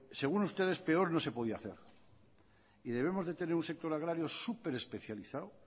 según ustedes peor no se podía hacer y debemos de tener un sector agrario superespecializado